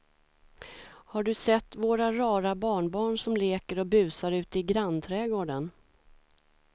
Har du sett våra rara barnbarn som leker och busar ute i grannträdgården!